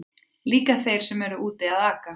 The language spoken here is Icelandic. Líka þeir sem eru úti að aka.